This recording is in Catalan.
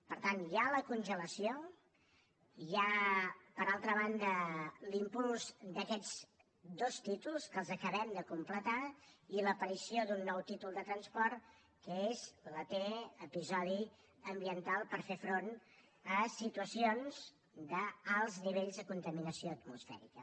per tant hi ha la congelació hi ha per altra banda l’impuls d’aquests dos títols que els acabem de completar i l’aparició d’un nou títol de transport que és la t episodi ambiental per fer front a situacions d’alts nivells de contaminació atmosfèrica